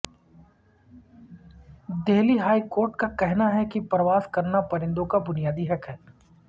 Delhi high court کا کہنا ہے کہ پرواز کرنا پرندوں کا بنیادی حق ہے